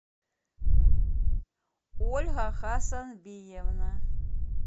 ольга хасанбиевна